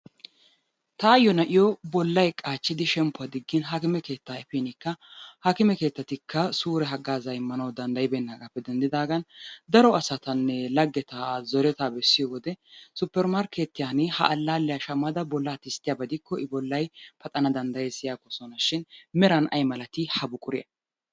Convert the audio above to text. Taayyo nai'yo bollay qaachchidi shemppuwa diggin hakime keettaa efinikka hakime keettatikka suure haggaazzaa immana danddayibeennaagaappe denddidaagan daro asatanne laggeta zoretaa bessiyo wode supper markkeetiyan ha allaalliya shammada bollaa tisttiyaba gidikko I bollay paxana danddayes yaagoosona shin meran ayi malatii ha buquray?